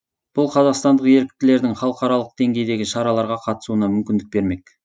бұл қазақстандық еріктілердің халықаралық деңгейдегі шараларға қатысуына мүмкіндік бермек